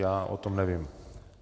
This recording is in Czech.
Já o tom nevím.